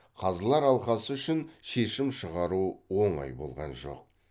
қазылар алқасы үшін шешім шығару оңай болған жоқ